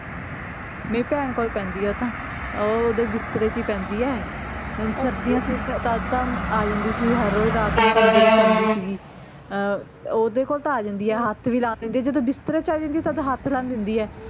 ਮੇਰੀ ਭੈਣ ਕੋਲ ਪੈਂਦੀ ਆ ਓਹ ਤਾਂ ਓਹ ਓਦਰ ਬਿਸਤਰੇ ਚ ਹੀ ਪੈਂਦੀ ਐ ਹਨ ਸਰਦੀਆਂ ਚ ਤੱਦ ਤਾਂ ਆ ਜਾਂਦੀ ਸੀ ਹਰ ਰੋਜ ਰਾਤ ਨੂੰ ਅੰਦਰ ਹੀ ਸੋਂਦੀ ਸੀਗੀ ਅਹ ਓਹਦੇ ਕੋਲ ਤਾਂ ਆ ਜਾਂਦੀ ਆ ਹੱਥ ਵੀ ਲਾਣ ਦਿੰਦੀ ਆ ਜਦੋਂ ਬਿਸਤਰੇ ਚ ਆ ਜਾਂਦੀ ਆ ਤੱਦ ਹੱਥ ਲਾਣ ਦਿੰਦੀ ਆ